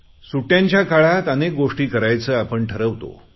सुट्ट्यांच्या काळात अनेक गोष्टी करायचे आपण ठरवतो